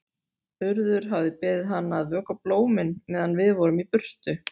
Urður hafði beðið hana að vökva blómin meðan við vorum í burtu.